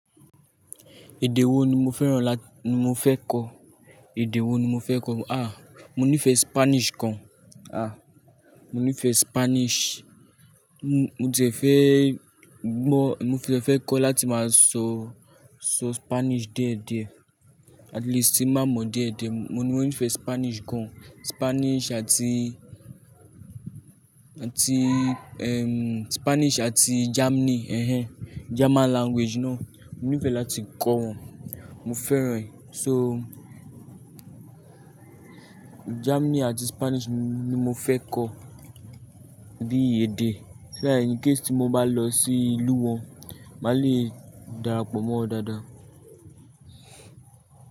Èdè wo ni mo fẹ́ran la-- ni mo fẹ́ kọ̀? Èdè wo ni mo fẹ́ kọ̀? Àh! Mo nífẹ̀ẹ́ Spanish gan. Àh! Mo nífẹ̀ẹ́ Spanish. Mo ti e fẹ́ gbọ́, mo ti e fẹ́ kọ̀ láti máa sọ, sọ Spanish die dié. At least, tin baá mọ̀ die die. Mo ní mo nífẹ̀ẹ́ Spanish gan. Mo nife Spanish àti Germany. Ehen. German language ná. Mo nífẹ̀ẹ́ láti kọ́ wọn. Mo fẹ́ran. So, Germany àti Spanish ni mo fẹ́ kọ̀ di èdè. So that incase tí mo bá lọ sí ìlú wọn, máa le darapọ̀ mọ́ wọn dáadáa.